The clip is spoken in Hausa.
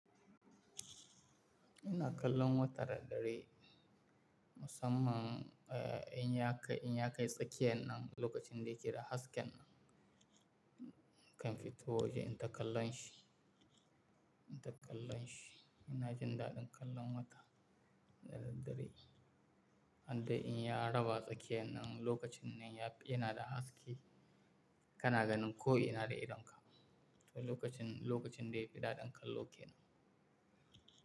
Ina kallon wata da dare musamman, eh, in ya kai, in ya kai tsakiyan nan lokacin da yake da hasken nan, kamfito waje inta kallon shi, ina kallon shi. Ina jin daɗin kallon wata da daddare, an dai in ya raba tsakiyan nan lokacin nan yana da haske, kana ganin ko ina da idonka. To lokacin, lokacin da yake daɗin kallo kenan.